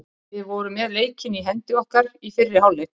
Við vorum með leikinn í hendi okkar í fyrri hálfleik.